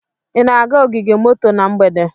Ị na-aga ogige moto na mgbede?